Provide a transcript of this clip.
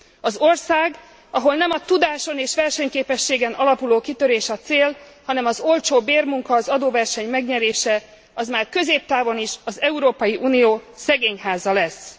Az ország, ahol nem a tudáson és versenyképességen alapuló kitörés a cél, hanem az olcsó bérmunka, az adóverseny megnyerése, az már középtávon is az Európai Unió szegényháza lesz.